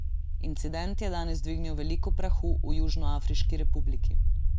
Incident je danes dvignil veliko prahu v Južnoafriški republiki.